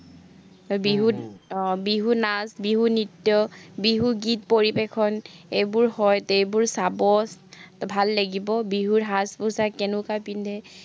আহ বিহু নাচ, বিহু নৃত্য, বিহু গীত পৰিবেশন, এইবোৰ হয়তে এইবোৰ চাব, ভাল লাগিব, বিহুৰ সাজ-পোছাক কেনেকুৱা পিন্ধে।